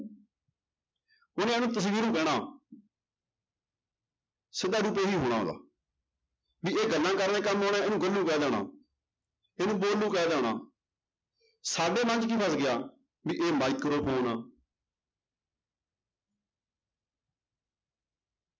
ਉਹਨੇ ਇਹਨੂੰ ਕਹਿਣਾ ਸਿੱਧਾ ਰੂਪ ਇਹੀ ਹੋਣਾ ਗਾ ਵੀ ਇਹ ਗੱਲਾਂ ਕਰਨ ਦੇ ਕੰਮ ਆਉਣਾ ਹੈ, ਇਹਨੂੰ ਗੱਲੂ ਕਹਿ ਦੇਣਾ, ਇਹਨੂੰ ਬੋਲੂ ਕਹਿ ਦੇਣਾ ਸਾਡੇ ਮਨ ਚ ਕੀ ਵਸ ਗਿਆ ਵੀ ਇਹ ਮਾਈਕ੍ਰੋਫ਼ੋਨ ਆ।